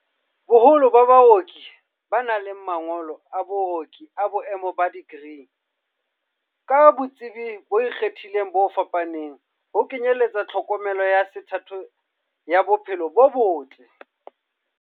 Boholo ba baoki ba na le ma ngolo a booki a boemo ba dikri, ka botsebi bo ikgethileng bo fapaneng, ho kenyeletsa tlhokomelo ya sethatho ya bo phelo bo botle.